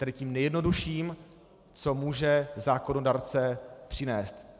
Tedy tím nejjednodušším, co může zákonodárce přinést.